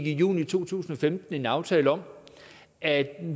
i juni to tusind og femten indgik en aftale om at